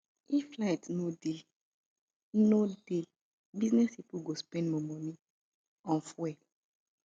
if light no dey no dey business pipo go spend more money on fuel